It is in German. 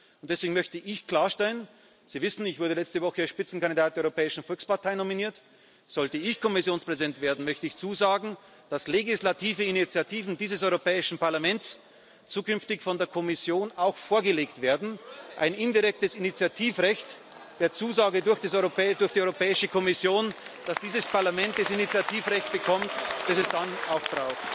Und deswegen möchte ich klarstellen Sie wissen, ich wurde letzte Woche als Spitzenkandidat der Europäischen Volkspartei nominiert Sollte ich Kommissionspräsident werden, möchte ich zusagen, dass legislative Initiativen dieses Europäischen Parlaments zukünftig von der Kommission auch vorgelegt werden, ein indirektes Initiativrecht der Zusage durch die Europäische Kommission, dass dieses Parlament das Initiativrecht bekommt, das es dann